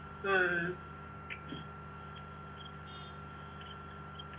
ഉം